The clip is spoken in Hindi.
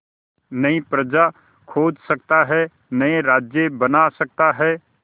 नई प्रजा खोज सकता है नए राज्य बना सकता है